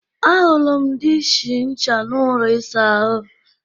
Ahụrụ m diishi ncha n'ụlọ ịsa ahụ